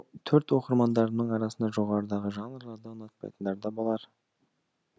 төрт оқырмандарымның арасында жоғарыдағы жанрларды ұнатпайтындар да болар